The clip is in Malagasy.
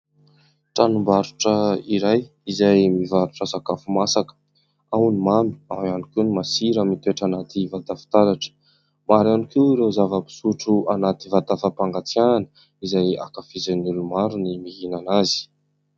Tranombarotra iray izay mivarotra sakafo masaka: ao ny mamy ao ihany koa ny masira mitoetra anaty vata fitaratra. Maro ihany koa ireo zava-pisotro anaty vata fampangatsiahina izay ankafizin'ny olomaro ny mihinana azy.